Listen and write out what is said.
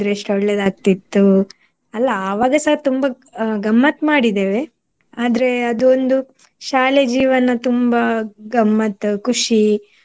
ಎಷ್ಟು ಒಳ್ಳೆದಾಗ್ತಿತ್ತು. ಅಲ್ಲ ಆವಾಗಸ ತುಂಬಾ ಅಹ್ ಗಮ್ಮತ್ ಮಾಡಿದ್ದೇವೆ ಆದ್ರೆ ಅದು ಒಂದು ಶಾಲೆಯ ಜೀವನ ತುಂಬಾ ಗಮ್ಮತ್ತು ಖುಷಿ